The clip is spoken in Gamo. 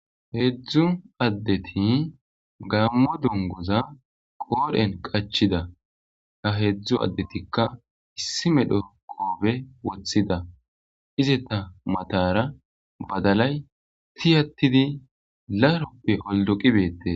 Heedzdzu addeti gaammo dongoza qoodhen qachida ha heedzdzu addetikka issime dho koobe woththida ize ta matara badalay tiyattidi laroppe oldoqibeette.